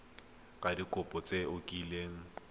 ka dikopo tse o kileng